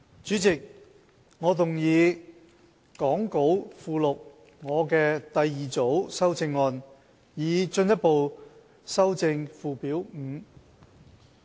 主席，我動議講稿附錄我的第二組修正案，以進一步修正附表5。